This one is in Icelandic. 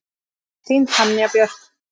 Þín, Tanja Björk.